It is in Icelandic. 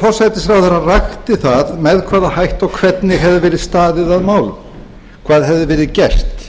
forsætisráðherra rakti með hvaða hætti og hvernig hefði verið staðið að málum hvað hefði verið gert